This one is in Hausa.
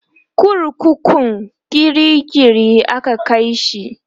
kurkukun kirikiri aka Kai shi